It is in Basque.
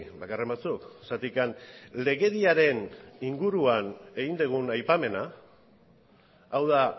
bakarren batzuk zergatik legediaren inguruan egin dugun aipamena hau da